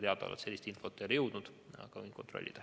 Minuni sellist infot ei ole jõudnud, aga võin üle kontrollida.